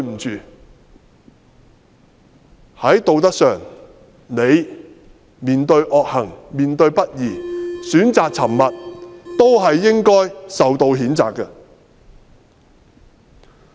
在道德上，你面對惡行和不義選擇沉默，也應受到譴責。